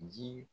Ji